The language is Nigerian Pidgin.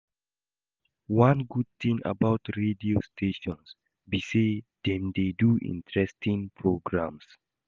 One good thing about radio stations be say dem dey do interesting programs